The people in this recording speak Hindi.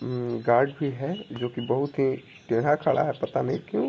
म्म गार्ड भी है जोकि बहुत ही टेढ़ा खड़ा है पता नहीं क्यूँ?